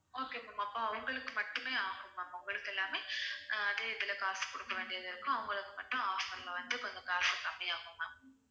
okay ma'am அப்ப அவங்களுக்கு மட்டுமே offer ma'am அவங்களுக்கு எல்லாமே அதே இதுல காசு குடுக்க வேண்டியிருக்கும் அவங்களுக்கு மட்டும் offer ல வந்து கொஞ்சம் காசு கம்மியாகும் ma'am